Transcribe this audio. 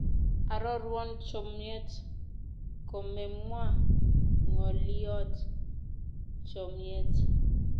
Arorwon chomyet komemwaa n'goliot chomyet